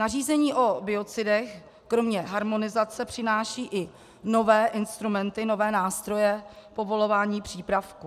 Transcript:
Nařízení o biocidech kromě harmonizace přináší i nové instrumenty, nové nástroje povolování přípravků.